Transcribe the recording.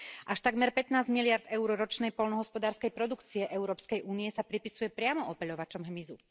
Až takmer 15 miliárd EUR ročnej poľnohospodárskej produkcie Európskej únie sa pripisuje priamo opeľovačom hmyzu.